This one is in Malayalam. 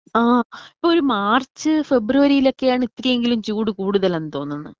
ആ ഇപ്പോ ഒരു മാർച്ച് ഫെബ്രുവരിയിലൊക്കെയാണ് ഇത്തിരിയെങ്കിലും ചൂട് കൂടുതൽ എന്ന് തോന്നുന്ന്.